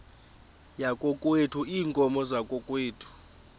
yakokwethu iinkomo zakokwethu